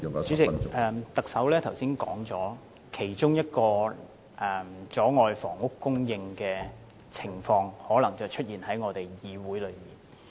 主席，特首剛才指出其中一種阻礙房屋供應的情況，可能就出現在本議會裏。